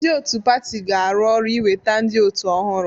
Ndị otu pati ga-arụ ọrụ iweta ndị otu ọhụrụ.